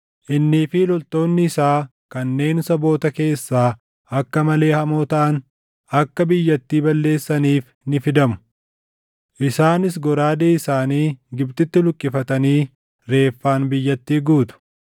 Innii fi loltoonni isaa kanneen saboota keessaa // akka malee hamoo taʼan, akka biyyattii balleessaniif ni fidamu. Isaanis goraadee isaanii Gibxitti luqqifatanii reeffaan biyyattii guutu.